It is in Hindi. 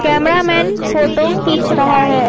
कैमरामैन फोटो खींच रहा है।